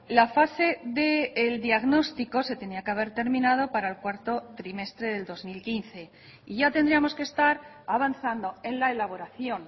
la fase del diagnóstico se tenía que haber terminado para el cuarto trimestre del dos mil quince y ya tendríamos que estar avanzando en la elaboración